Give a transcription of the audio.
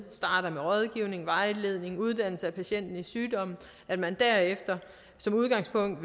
starter med rådgivning vejledning uddannelse af patienten i sygdommen og at man derefter som udgangspunkt